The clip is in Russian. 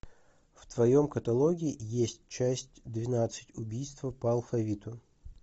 в твоем каталоге есть часть двенадцать убийство по алфавиту